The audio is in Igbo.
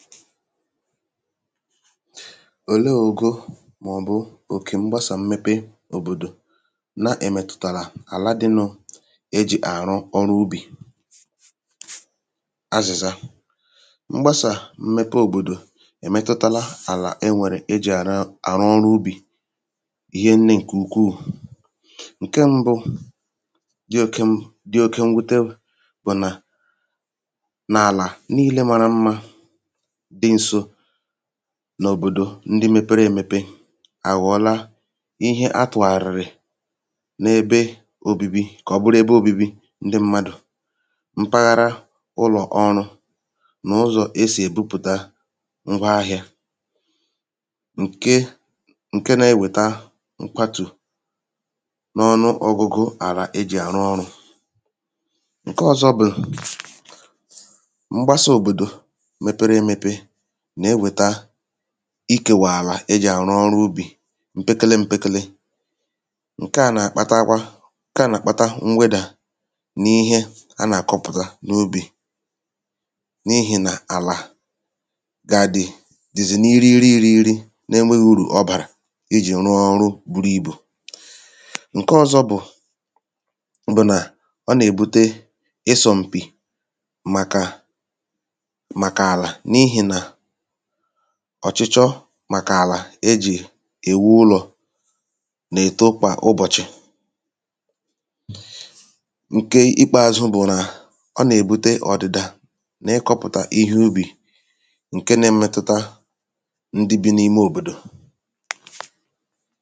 òleē ogo? màọ̀bụ òkè mgbasà mmepe òbòdò na-èmètụ̀tàrà àla dịnụ̄ e jì àrụ ọrụ ubì azị̀za mgbasà mmepe òbòdò èmetụtala àlà e nwèrè e jì àrọ àrụ ọrụ ubì ihe nnē ṅ̀kè ukwuù ṅ̀ke mbụ dị oke m dị oke mwute bụ̀ nà nà àlà niilē mara mmā dɪ nso n’òbòdò ndị mēpērē emepe àghọ̀ọla ihe a tụ̀ghàrị̀rị̀ n’ebe obibi kà ọ bụrụ ebe ōbībī ndị m̄mādụ̀ mpaghara ụlọ̀ ọrụ̄ nà ʊ́zɔ̀ é sì èbípʊ̀tá ńgwa ahịā ǹke ǹke na-ewèta nkwatù n’ọnụọgụgụ àrà e jì àrù ọrụ̄ ṅ̀ke ọ̄zọ̄ bụ̀ mgbasā òbòdò mepere ēmepē nà-ewèta ikèwà àlà e jì àrụ ọrụ ubì mpekele m̄pēkēlē ṅ̀ke à nà-àkpatakwa ṅ̀ke à nà-àkpata mwedà n’ihe a nà-àkọpụ̀ta n’ubì n’ihì nà àlà gà dị̀ dì̩zị̀ n’irighiri īrīghīrī n'enweghi urù ọ bàrà ijì rụọ ọrụ buru ibù ṅ̀ke ọ̄zọ̄ bụ̀ bụ̀ nà ọ nà-èbute ịsọ̄ m̀pì màkà màkà àlà n’ihì nà ọ̀chụchọ màkà àlà e jì èwu ụlọ̀ nà-èto kwà ụbọ̀chị̀ ǹke ìkpeāzụ̄ bụ̀ nà ọ nà-èbute ọ̀dị̀dà n’ịkọ̄pụ̀tà ihe ubì ǹke na-emetụta ndị bī n’ime òbòdò